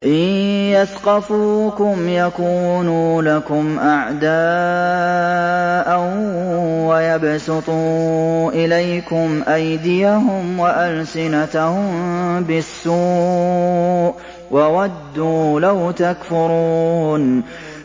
إِن يَثْقَفُوكُمْ يَكُونُوا لَكُمْ أَعْدَاءً وَيَبْسُطُوا إِلَيْكُمْ أَيْدِيَهُمْ وَأَلْسِنَتَهُم بِالسُّوءِ وَوَدُّوا لَوْ تَكْفُرُونَ